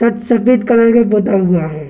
सफेद कलर का पोता हुआ है।